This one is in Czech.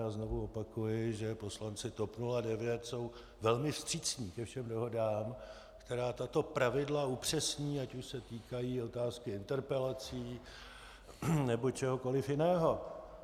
Já znovu opakuji, že poslanci TOP 09 jsou velmi vstřícní ke všem dohodám, které tato pravidla upřesní, ať už se týkají otázky interpelací nebo čehokoli jiného.